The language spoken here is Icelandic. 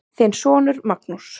Þinn sonur Magnús.